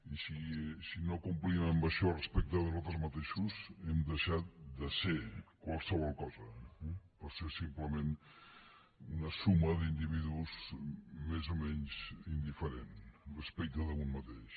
i si no complim amb això respecte de nosaltres mateixos hem deixat de ser qualsevol cosa eh per ser simplement una suma d’individus més o menys indiferent respecte d’un mateix